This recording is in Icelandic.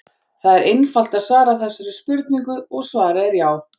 Það er einfalt að svara þessari spurningu og svarið er já!